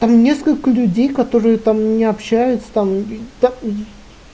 там несколько людей которые там не общаются там